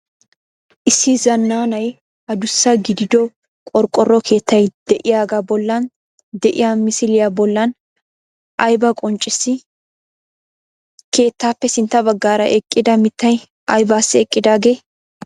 Issi zananay adussa gidido qorqoro keettay de"iyaagaa bollan de'iya misiliyaa bollan aybaa qonccissii? Keettaappe sintta baggaara eqqida mittay aybaassi eqqidaagee?